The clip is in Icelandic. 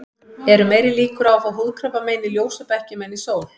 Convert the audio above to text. Eru meiri líkur á að fá húðkrabbamein í ljósabekkjum en í sól?